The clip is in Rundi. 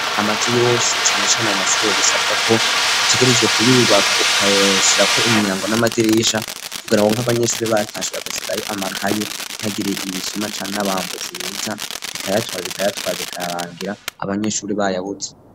amazu yose cane cane mumashure bisabwa ko utegerezwe kuyubaka ukayashirako imyango n'amadirisha kugira ngo nk'abanyeshuri batashe bagasigayo amakaye hatagira ibisuma canke n'abambuzi biza bikayatwara bikayatwaye bikarangira abanyeshure bayabuze